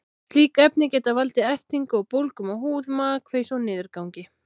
Slík efni geta valdið ertingu og bólgum á húð, magakveisu og niðurgangi.